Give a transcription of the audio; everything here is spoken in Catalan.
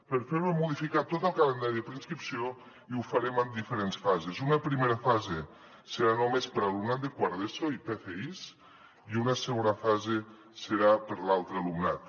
per fer ho hem modificat tot el calendari de preinscripció i ho farem en diferents fases una primera fase serà només per alumnat de quart d’eso i pfis i una segona fase serà per l’altre alumnat